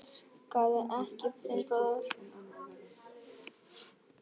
Elskaðu ekki þinn bróður.